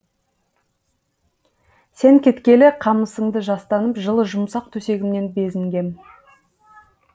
сен кеткелі қамысыңды жастанып жылы жұмсақ төсегімнен безінгем